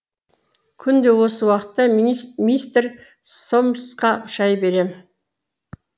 күнде осы уақытта минист мистер сомсқа шай берем